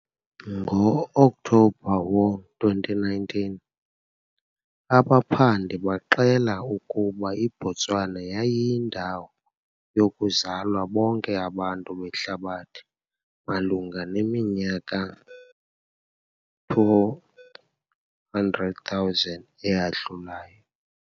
Ngo-Okthobha wo-2019, abaphandi baxela ukuba iBotswana yayindawo yokuzalwa bonke abantu behlabathi malunga neminyaka 200,000 eyadlulayo.